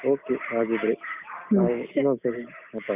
Okay ಹಾಗಿದ್ರೆ . ನಾವ್ ಇನ್ನೊಂದ್ಸರಿ ಮಾತಾಡುವ.